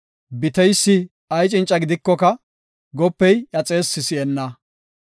Biteysi ay cinca gidikoka, Gopey iya xeessi si7enna.